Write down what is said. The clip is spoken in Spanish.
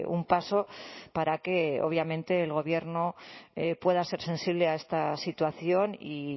un paso para que obviamente el gobierno pueda ser sensible a esta situación y